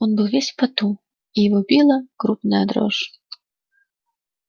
он был весь в поту и его била крупная дрожь